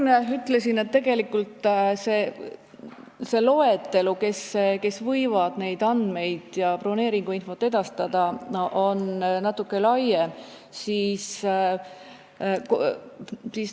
Ma ka enne ütlesin, et tegelikult see loetelu, kes võivad neid andmeid ja broneeringuinfot edastada, on natuke pikem.